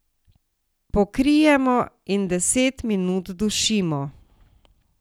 Pokrijemo in deset minut dušimo.